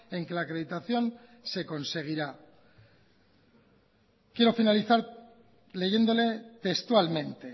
en que la acreditación se conseguirá quiero finalizar leyéndole textualmente